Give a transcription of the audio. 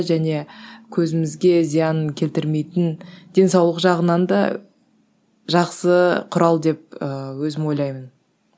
және көзімізге зиянын келтірмейтін денсаулық жағынан да жақсы құрал деп ыыы өзім ойлаймын